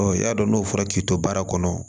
i y'a dɔn n'o fɔra k'i to baara kɔnɔ